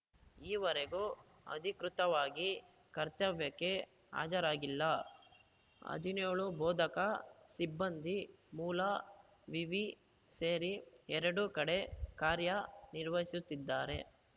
ಈವರೆಗೂ ಅಧಿಕೃತವಾಗಿ ಕರ್ತವ್ಯಕ್ಕೆ ಹಾಜರಾಗಿಲ್ಲ ಹದಿನೇಳು ಬೋಧಕ ಸಿಬ್ಬಂದಿ ಮೂಲ ವಿವಿ ಸೇರಿ ಎರಡೂ ಕಡೆ ಕಾರ್ಯ ನಿರ್ವಹಿಸುತ್ತಿದ್ದಾರೆ